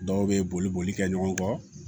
Dɔw bɛ boli boli kɛ ɲɔgɔn kɔ